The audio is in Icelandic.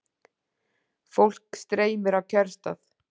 Fólk streymir á kjörstað